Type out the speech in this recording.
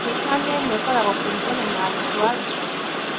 Mĩkana ĩmwe ĩkĩraguo kũringana na arutwo arutani.